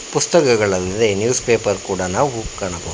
ಪುಸ್ತಕಗಳಲ್ಲದೆ newspaper ಕೂಡ ನಾವು ಕಾಣಬಹು--